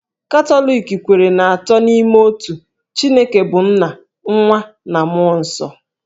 Katọlik kweere n'Atọ n'Ime Otu; Chineke bụ́ nna, nwa, na mmụọ nsọ.